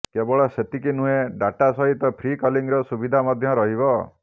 କେବଳ ସେତିକି ନୁହେଁ ଡାଟା ସହିତ ଫ୍ରି କଲିଂର ସୁବିଧା ମଧ୍ୟ ରହିବ